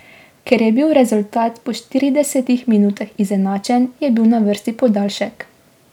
Ker je bil rezultat po štiridesetih minutah izenačen, je bil na vrsti podaljšek.